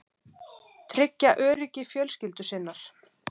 Tryggja öryggi fjölskyldu sinnar.